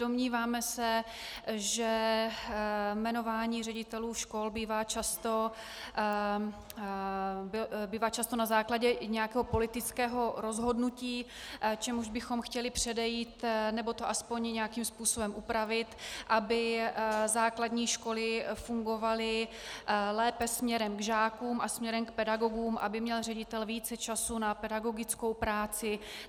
Domníváme se, že jmenování ředitelů škol bývá často na základě nějakého politického rozhodnutí, čemuž bychom chtěli předejít, nebo to alespoň nějakým způsobem upravit, aby základní školy fungovaly lépe směrem k žákům a směrem k pedagogům, aby měl ředitel více času na pedagogickou práci.